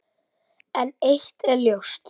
En eitt er ljóst.